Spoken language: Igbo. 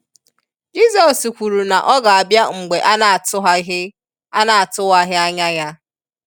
Jisos kwuru na ọ ga abia mgbe a na atuwaghi a na atuwaghi anya ya.